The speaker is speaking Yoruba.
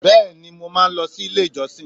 Bẹ́ẹ̀ni mo máa n lo sílé ìjọsìn